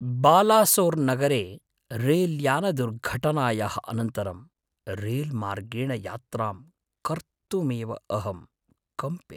बालासोर्नगरे रैल्यानदुर्घटनायाः अनन्तरं, रैल्मार्गेण यात्रां कर्तुमेव अहं कम्पे।